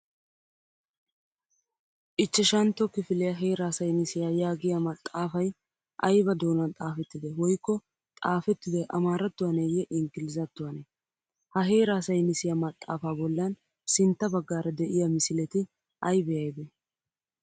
Ichchashantto kifiliya heeraa saynnisiya yaagiya maxxaafay ayba doonan xaffettidee woykko xaafettidoy amaarattuwaneeyye inggilzzatttuwanee? Ha heraa saynnisiya maxxaafaa bollan sintta baggaara de'iya misileti aybee aybee?